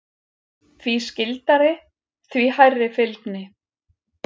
Því skyldari, því hærri fylgni.